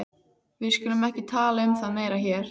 Við skulum ekki tala um það meira hér.